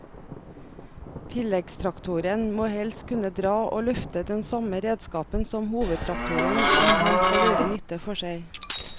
Tilleggstraktoren må helst kunne dra og løfte den samme redskapen som hovedtraktoren om han skal gjøre nytte for seg.